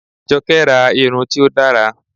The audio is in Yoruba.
Jọkẹ́ ra irun tí ó dára